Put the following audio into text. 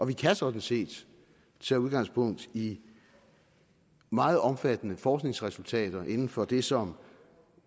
vi kan sådan set tage udgangspunkt i meget omfattende forskningsresultater inden for det som